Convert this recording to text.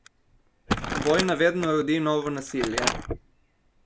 Vojna vedno rodi novo nasilje.